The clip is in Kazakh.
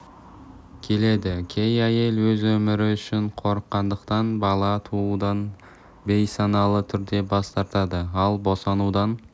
келеді кей әйел өз өмірі үшін қорыққандықтан бала туудан бейсаналы түрде бас тартады ал босанудан